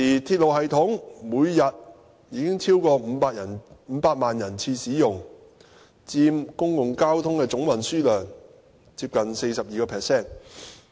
鐵路系統現時每天已超過500萬人次使用，佔每日公共交通的總運輸量接近 42%。